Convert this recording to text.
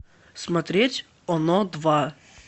смотреть оно два